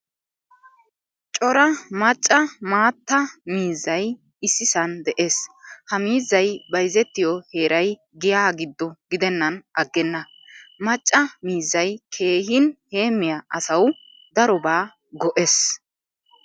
Cora macca maattaa miizzay issisan de'ees. Ha miizzay bayzzetiyo heeray giya giddo gidenan aggena. Macca miizzay keehin heemiya asaw darobawu go'ees.